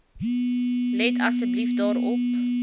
let asseblief daarop